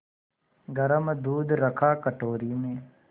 गरम दूध रखा कटोरी में